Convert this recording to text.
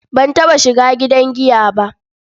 Ban taɓa shiga gidan giya ba.